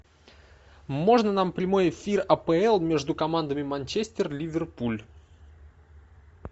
можно нам прямой эфир апл между командами манчестер ливерпуль